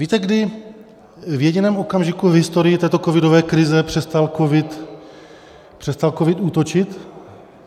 Víte, kdy v jediném okamžiku v historii této covidové krize přestal covid útočit?